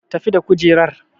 Tafi da kujerar!